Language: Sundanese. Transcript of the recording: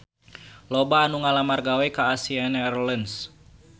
Loba anu ngalamar gawe ka Asiana Airlines